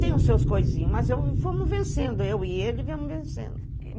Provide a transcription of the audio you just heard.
Tem os seus coisinhos, mas fomos vencendo, eu e ele fomos vencendo.